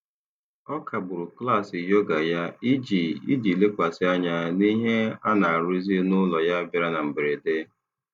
Ọ kagburu klaasị yoga ya iji iji lekwasị anya n'ihe a na-arụzi n'ụlọ ya bịara na mberede.